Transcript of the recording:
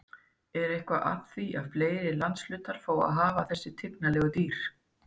En er eitthvað að því að fleiri landshlutar fái að hafa þessi tignarlegu dýr?